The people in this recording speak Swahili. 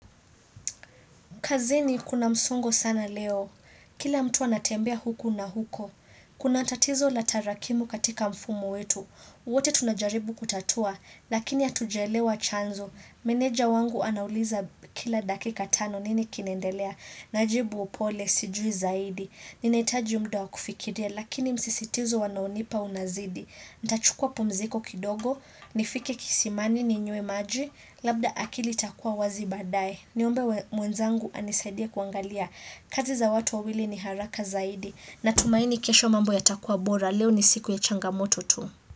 Kazini kuna msongo sana leo. Kila mtu anatembea huku na huko. Kuna tatizo la tarakimu katika mfumo wetu. Wote tunajaribu kutatua, lakini hatujaelewa chanzo. Meneja wangu anauliza kila dakika tano nini kinaendelea. Najibu upole sijui zaidi. Ninaitaji mda wa kufikiria, lakini msisitizo wanaonipa unazidi. Ntachukua pumziko kidogo, nifike kisimani ninywe maji, labda akili itakua wazi baadaye Niombe mwenzangu anisaidie kuangalia, kazi za watu wawili ni haraka zaidi Natumaini kesho mambo yatakua bora, leo ni siku ya changamoto tu.